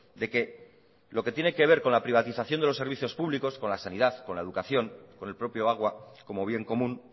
de que lo que tiene que ver con la privatización de los servicios públicos con la sanidad con la educación con el propio agua como bien común